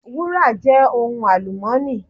Wúrà jẹ́ ohun àlùmọ́ọ́nì.